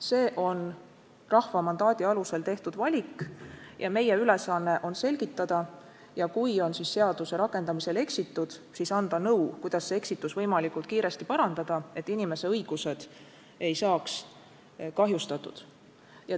See on rahva mandaadi alusel tehtud valik ja meie ülesanne on selgitada ja kui on seaduse rakendamisel eksitud, siis anda nõu, kuidas eksitus võimalikult kiiresti parandada, et inimese õigused ei saaks kahjustatud.